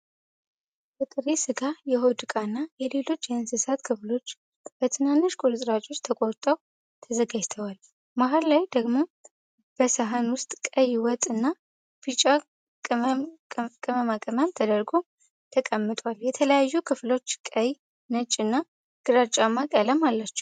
የጥሬ ሥጋ፣ የሆድ ዕቃና የሌሎች የእንስሳ ክፍሎች በትናንሽ ቁርጥራጮች ተቆርጠው ተዘርግተዋል። መሀል ላይ ደግሞ በሠሃን ውስጥ ቀይ ወጥ እና ቢጫ ቅመማ ቅመም ተደርጎ ተቀምጧል። የተለያዩ ክፍሎች ቀይ፣ ነጭ እና ግራጫማ ቀለም አላቸው።